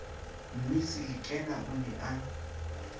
mmisi lekena o ne a